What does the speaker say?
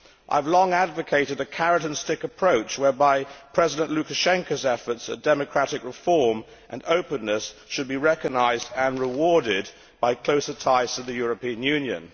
I have long advocated a carrot and stick approach whereby President Lukashenko's efforts at democratic reform and openness should be recognised and rewarded by closer ties to the European Union.